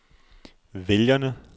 vælgerne